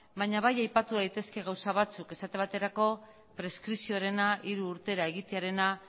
baina bai aipatu daitezke gauza batzuk esate baterako preskripzioarena hiru urtera egitearena